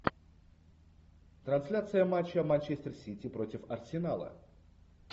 трансляция матча манчестер сити против арсенала